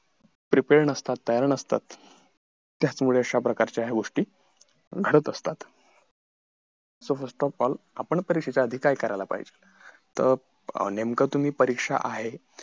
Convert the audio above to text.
prepar नसतात तयार नसतात त्याचमुळे अशा प्रकारच्या ह्या गोष्टी घडत असतात तर प्रथम आपण परीक्षेच्या आधी काय करायला पाहिजे तर नेमकं तुम्ही परीक्षा आहे